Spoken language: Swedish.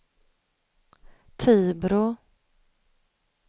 Tibro